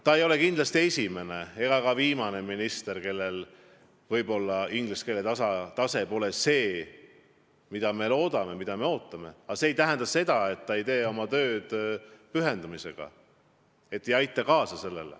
Ta ei ole kindlasti ei esimene ega ka viimane minister, kellel inglise keele tase pole see, mida võiks eeldada, aga see ei tähenda, et ta ei tee oma tööd pühendumisega.